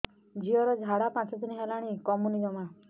ଝିଅର ଝାଡା ପାଞ୍ଚ ଦିନ ହେଲାଣି କମୁନି ଜମା